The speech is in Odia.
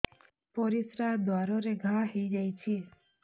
ପରିଶ୍ରା ଦ୍ୱାର ରେ ଘା ହେଇଯାଇଛି